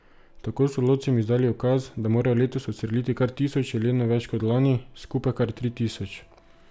Tako so lovcem izdali ukaz, da morajo letos odstreliti kar tisoč jelenov več kot lani, skupaj kar tri tisoč.